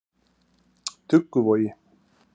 Dugguvogi